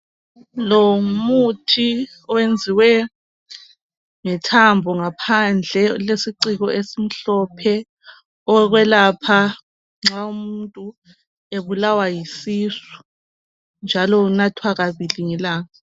Lo ngumuthi owenziwe ngethambo ngaphandle, ulesiciko esimhlophe owokwelapha nxa umuntu ebulawa yisisu njalo unathwa kabili ngelanga.